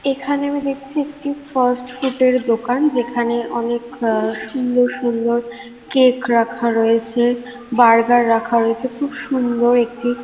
এখানে আমি দেখছি একটি ফাস্ট ফুড -এর দোকান যেখানে অনেক আ সুন্দর সুন্দর কেক রাখা রয়েছে। বার্গার রাখা রয়েছে। খুব সুন্দর একটি --